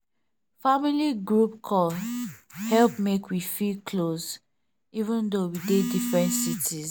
family group call help make we feel close even though we dey different cities.